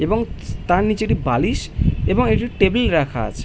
এবং তার নিচে একটি বালিশ এবং একটি টেবিল রাখা আছে।